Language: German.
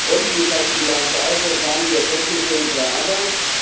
Und wie schaut die Bilanz aus, was waren die Erkenntnisse unserer Arbeit?